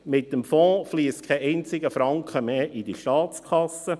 Mit dem Fonds fliesst kein einziger Franken mehr in diese Staatskasse.